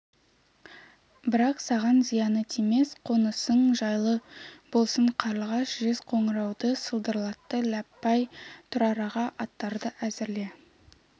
бірақ саған зияны тимес қонысың жайлы болсын қарлығаш жез қоңырауды сылдырлатты ләббай тұрар аға аттарды әзірле